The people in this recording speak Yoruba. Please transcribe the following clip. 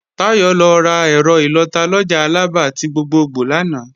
Táyọ̀ lọ rà ẹ̀rọ ìlọta lọjà Alaba ti gbogbogbò lánàá